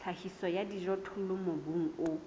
tlhahiso ya dijothollo mobung o